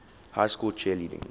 high school cheerleading